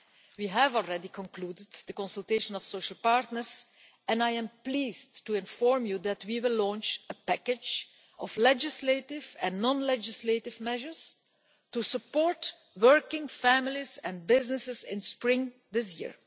We have already concluded the consultation of social partners, and I am pleased to inform you that we will launch a package of legislative and non legislative measures to support working families and businesses in spring this year.